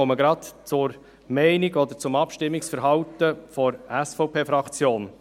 Ich komme gerade zur Meinung oder zum Abstimmungsverhalten der SVP-Fraktion.